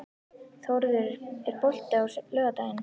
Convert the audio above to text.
Þórður, er bolti á laugardaginn?